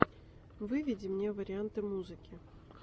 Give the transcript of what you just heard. выведи мне варианты музыки